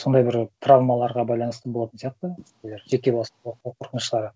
сондай бір травмаларға байланысты болатын сияқты нелер жеке бастың қорқыныштары